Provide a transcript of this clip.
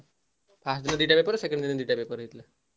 First ଦିନ ଦିଟା paper, second ଦିନ ଦିଟା paper ।